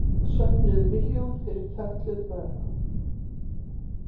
Söfnuðu milljón fyrir fötluð börn